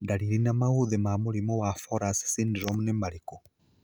Ndariri na maũthĩ ma mũrimũ wa Fowler's syndrome nĩ marĩkũ